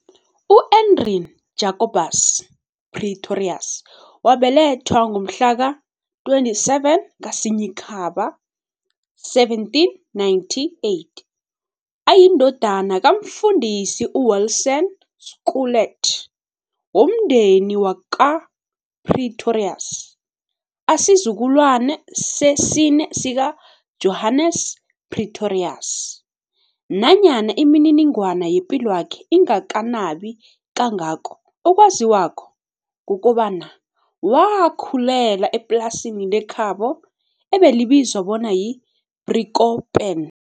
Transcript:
U-Andrien Jacobus Pretorius wabelethwa ngomhlaka-27 kaSinyikhaba 1798 ayindodana kaMfundisi uWilson Schulte womndeni wakwaPretorius, asizukulwane sesine sika-Johannes Pretorius. Nanyana imininingwana yepilwakhe ingakanabi kangako, okwaziwako kukobana wakhulela eplasini lekhabo ebelibizwa bona yi-Driekoppen.